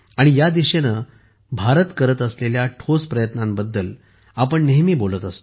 या दिशेने भारत करत असलेल्या ठोस प्रयत्नांबद्दल आपण नेहमी बोलत असतो